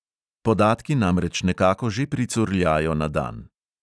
Podatki namreč nekako že pricurljajo na dan.